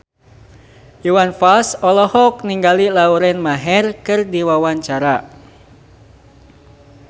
Iwan Fals olohok ningali Lauren Maher keur diwawancara